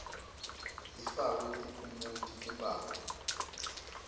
ifakwe tiphumuti timphawu